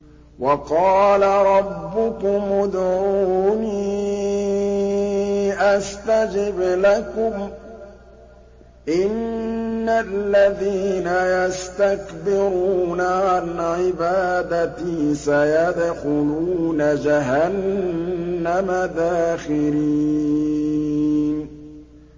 وَقَالَ رَبُّكُمُ ادْعُونِي أَسْتَجِبْ لَكُمْ ۚ إِنَّ الَّذِينَ يَسْتَكْبِرُونَ عَنْ عِبَادَتِي سَيَدْخُلُونَ جَهَنَّمَ دَاخِرِينَ